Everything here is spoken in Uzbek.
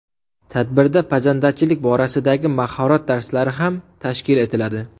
Tadbirda pazandachilik borasidagi mahorat darslari ham tashkil etiladi.